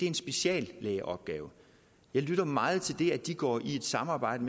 en speciallægeopgave jeg lytter meget til det at de går i et samarbejde